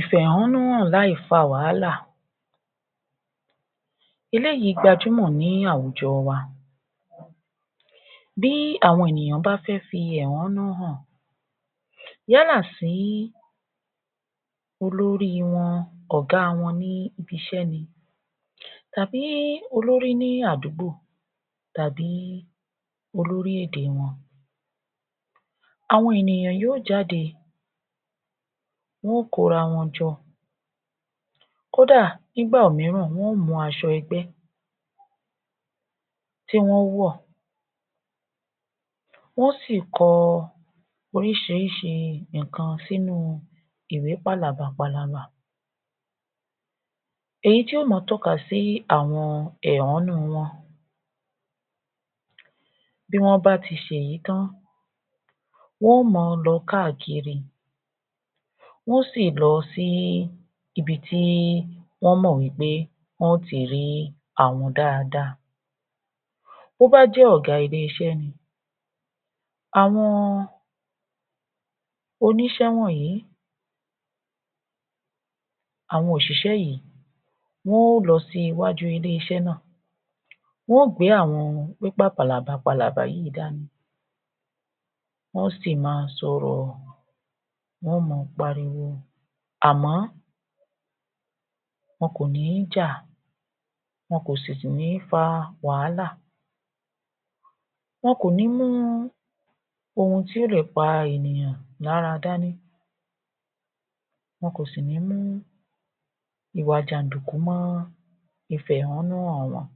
Ìfẹ̀họ́núhàn láì fa wàhálà Eléyìí gbajúmò ní àwùjọ wa. Bí àwọn ènìyàn bá fẹ́ fi ẹ̀họ́nú hàn, yálà sí olórí wọn, ọ̀gá wọn ní ibi-iṣẹ́ ni tàbí olórí ní àdúgbò tàbí olórí-èdè wọn. Àwọn ènìyàn yóò jáde, wọ́n ó kó ara wọn jọ, kódà nígbà mìíràn wọ́n ó mú aṣọ ẹgbẹ́ ti wọ́n o wọ̀. Wọn sì kọ oríṣiríṣi nǹkan sínú ìwé pàlàbà palaba. Èyí ti ó máa tọ́ka sí àwọn ẹ̀họ́nú wọn. Bí wọ́n bá ti ṣe èyí tán wọ́n ó máa lọ káàkiri, wọ́n sì lọ sí ibi tí wọ́n mọ̀ wí pé wọn ti rí àwọn dáadáa. Bí ó bá jẹ ọ̀gá ilé-iṣẹ́ ni, àwọn oníṣẹ́ wọ̀nyí, àwọn òṣìṣẹ́ yìí, wọ́n ó lọ sí iwájú ilé-iṣẹ́ nà, wọn o gbé àwọn pépà pàlàbà palaba yí dání, wọ́n sì máa sọ̀rọ̀, wọn máa pariwo, àmọ́ wọn kò ní jà, wọn kò sì ní tún fa wàhálà. Wọn kò ní mú ohun tí o lè pa ènìyàn lára dání. Wọn kò sì ní mú ìwà jàdìkú mọ́-ọ́n ìfẹ̀họ́núhàn wọn.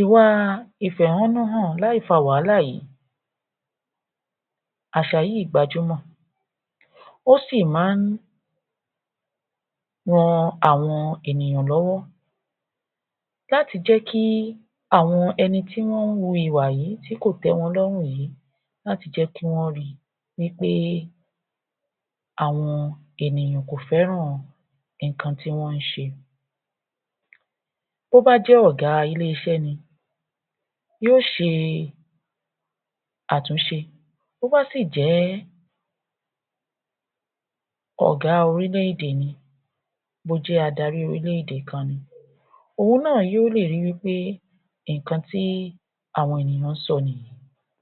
Ìwà ìfẹ̀họ́núhàn láì fa wàhálà yìí, àṣà yìí gbajúmò, ó sí máa ń ran àwọn ènìyàn lọ́wọ́ láti jẹ́ kí àwọn ẹni ti wọn wu ìwà yìí ti kò té wọn lọ́rùn yìí láti jẹ́ kí wọn ri wí pé àwọn ènìyàn kò fẹ́ràn nǹkan tí wọ́n ń ṣe. Bí ó bá jẹ́ ọ̀gá ilé-iṣẹ́ ni, yóò ṣe àtùnṣe. Bí ó bá sì jẹ́ ọ̀gá orílẹ̀-èdè ni, bí o jẹ adárí orílẹ̀-èdè kan ní, òun náà yóò lè ri wí pé nǹkan tí àwọn ènìyàn sọ nìyí.